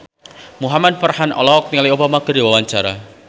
Muhamad Farhan olohok ningali Obama keur diwawancara